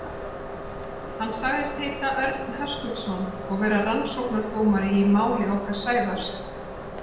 Hann sagðist heita Örn Höskuldsson og vera rannsóknardómari í máli okkar Sævars.